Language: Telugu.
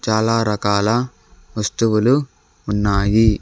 చాలా రకాల వస్తువులు ఉన్నాయి.